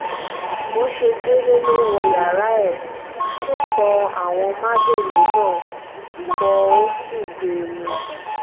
bó ṣe délé ló wọ yàrá ẹ̀ ó pọ àwọn májèlé náà pó ò sì gbé e mú